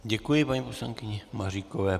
Děkuji paní poslankyni Maříkové.